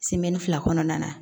fila kɔnɔna na